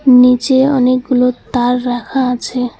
নীচে অনেকগুলো তার রাখা আছে।